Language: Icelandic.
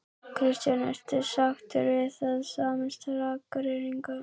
Kristján: Ertu sáttur við það að sameinast Akureyringum?